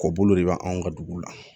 Kɔ bolo de bɛ anw ka dugu la